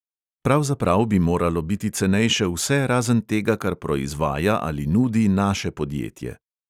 Pravzaprav bi moralo biti cenejše vse razen tega, kar proizvaja ali nudi naše podjetje.